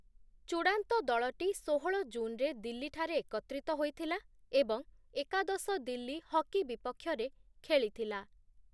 ଚୂଡ଼ାନ୍ତ ଦଳଟି ଷୋହଳ ଜୁନ୍‌ରେ ଦିଲ୍ଲୀଠାରେ ଏକତ୍ରିତ ହୋଇଥିଲା ଏବଂ ଏକାଦଶ ଦିଲ୍ଲୀ ହକି ବିପକ୍ଷରେ ଖେଳିଥିଲା ।